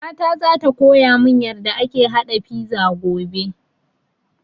Mama zata koya mun yarda ake haɗa fiza tomorrow